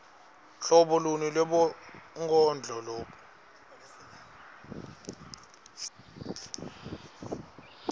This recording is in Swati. hlobo luni lwebunkondlo